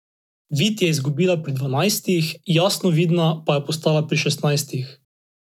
Vid je izgubila pri dvanajstih, jasnovidna pa je postala pri šestnajstih.